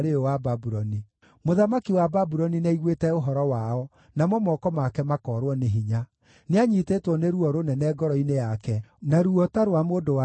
Mũthamaki wa Babuloni nĩaiguĩte ũhoro wao, namo moko make makoorwo nĩ hinya. Nĩanyiitĩtwo nĩ ruo rũnene ngoro-inĩ yake, na ruo ta rwa mũndũ-wa-nja akĩrũmwo.